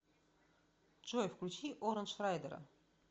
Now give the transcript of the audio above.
джой включи орандж райдера